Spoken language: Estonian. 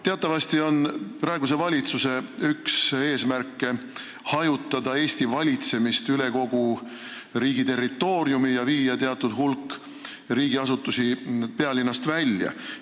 Teatavasti on praeguse valitsuse üks eesmärke hajutada Eesti valitsemist üle kogu riigi territooriumi ja viia teatud hulk riigiasutusi pealinnast välja.